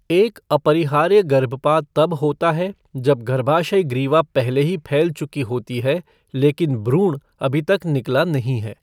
एक अपरिहार्य गर्भपात तब होता है जब गर्भाशय ग्रीवा पहले ही फैल चुकी होती है, लेकिन भ्रूण अभी तक निकला नहीं है।